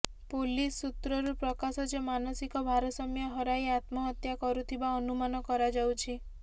police ସୂତ୍ରରୁ ପ୍ରକାଶ ଯେ ମାନସିକ ଭାରସାମ୍ୟ ହରାଇ ଆତ୍ମହତ୍ୟା କରିଥିବା ଅନୁମାନ କରାଯାଉଛି